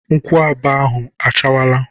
Nkwụaba ahụ achawala.